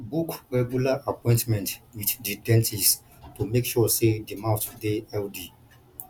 book regular appointment with di dentist to make sure sey di mouth dey healthy